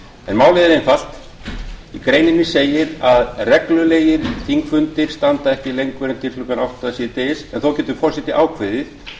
en málið er einfalt í greininni segir að reglulegir þingfundir standa ekki lengur en til klukkan átta síðdegis en þó getur forseti ákveðið